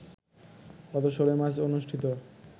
গত ১৬ মার্চ অনুষ্ঠিত